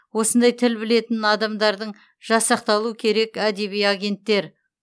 осындай тіл білетін адамдардың жасақталу керек әдеби агенттер